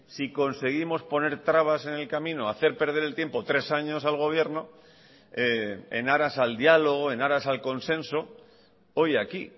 si conseguimos poner trabas en el camino hacer perder el tiempo tres años al gobierno en aras al diálogo en aras al consenso hoy aquí